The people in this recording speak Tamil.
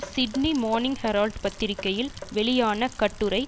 சிட்னி மோர்னிங் ஹெரால்ட் பத்திரிகையில் வெளியான கட்டுரை